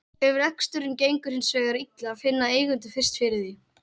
Ef reksturinn gengur hins vegar illa finna eigendur fyrst fyrir því.